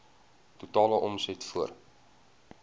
totale omset voor